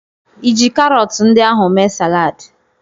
Ịji karọtụ ndị ahụ mee saladị?